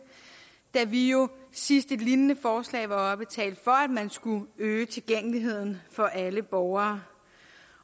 da vi jo sidst et lignende forslag var oppe talte for at man skulle øge tilgængeligheden for alle borgere